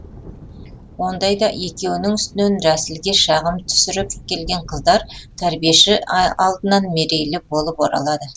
ондайда екеуінің үстінен рәсілге шағым түсіріп келген қыздар тәрбиеші алдынан мерейлі болып оралады